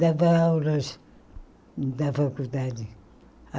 Dava aulas da faculdade.